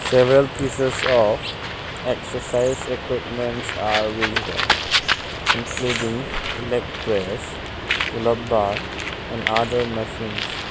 Several pieces of exercise equipments are visible including leg press pull up bar and other machines.